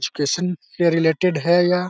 education के related है या --